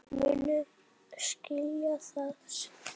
Þið munuð skilja það seinna.